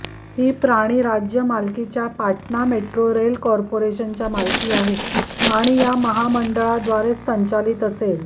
ही प्राणी राज्य मालकीच्या पाटणा मेट्रो रेल कॉर्पोरेशनच्या मालकी आहे आणि या महामंडळाद्वारेच संचालित असेल